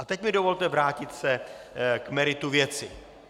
A teď mi dovolte vrátit se k meritu věci.